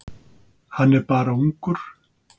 Hann er bara ungur.